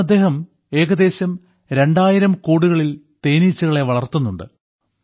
ഇന്ന് അദ്ദേഹം ഏകദേശം രണ്ടായിരം കൂടുകളിൽ തേനീച്ചകളെ വളർത്തുന്നുണ്ട്